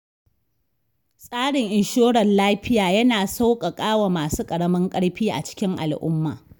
Tsarin inshorar lafiya, yana sauƙaƙawa masu ƙaramin ƙarfi a cikin al'umma.